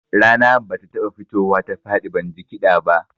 Rana ba ta taɓa fitowa ta faɗi ban ji kiɗa ba